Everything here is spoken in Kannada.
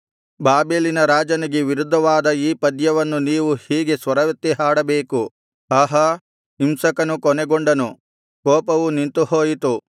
ಬಾಬೆಲಿನ ರಾಜನಿಗೆ ವಿರುದ್ಧವಾದ ಈ ಪದ್ಯವನ್ನು ನೀವು ಹೀಗೆ ಸ್ವರವೆತ್ತಿ ಹಾಡಬೇಕು ಆಹಾ ಹಿಂಸಕನು ಕೊನೆಗೊಂಡನು ಕೋಪವು ನಿಂತು ಹೋಯಿತು